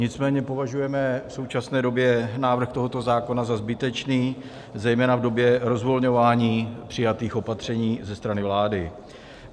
Nicméně považujeme v současné době návrh tohoto zákona za zbytečný, zejména v době rozvolňování přijatých opatření ze strany vlády.